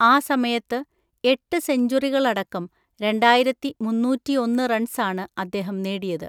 ആ സമയത്ത്, എട്ട് സെഞ്ച്വറികളടക്കം രണ്ടായിരത്തി മുന്നൂറ്റി ഒന്ന് റൺസാണ് അദ്ദേഹം നേടിയത്.